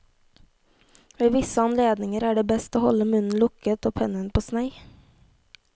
Ved visse anledninger er det best å holde munnen lukket og pennen på snei.